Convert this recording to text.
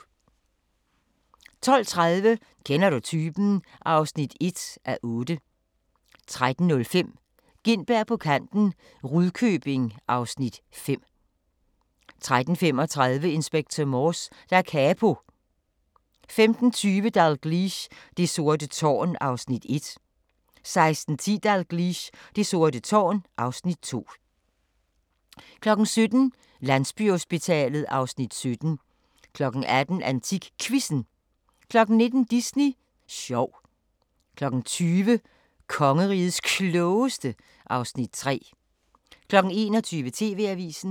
12:30: Kender du typen? (1:8) 13:05: Gintberg på kanten - Rudkøbing (Afs. 5) 13:35: Inspector Morse: Da Capo 15:20: Dalgliesh: Det sorte tårn (Afs. 1) 16:10: Dalgliesh: Det sorte tårn (Afs. 2) 17:00: Landsbyhospitalet (Afs. 17) 18:00: AntikQuizzen 19:00: Disney sjov 20:00: Kongerigets Klogeste (Afs. 3) 21:00: TV-avisen